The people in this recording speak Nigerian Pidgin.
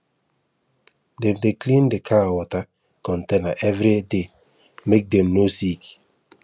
dem dey clean the cow water container every day make dem no sick